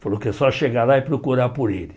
Falou que é só chegar lá e procurar por ele.